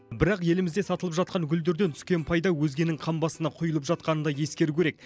бірақ елімізде сатылып жатқан гүлдерден түскен пайда өзгенің қамбасына құйылып жатқанын да ескеру керек